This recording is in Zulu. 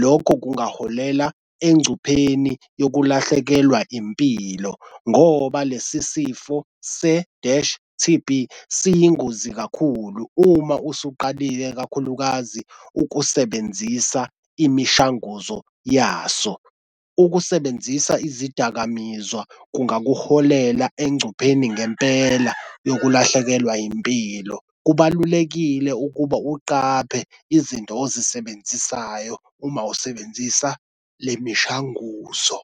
Lokho kungaholela engcupheni yokulahlekelwa impilo ngoba lesi sifo se-dash T_B siyingozi kakhulu. Uma usuqalile kakhulukazi ukusebenzisa imishanguzo yaso. Ukusebenzisa izidakamizwa kuyakuholela engcupheni ngempela yokulahlekelwa impilo. Kubalulekile ukuba uqaphe izinto ozisebenzisayo uma usebenzisa le mishanguzo.